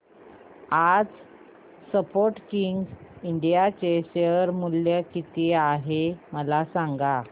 आज Sportking India चे share मूल्य किती आहे मला सांगा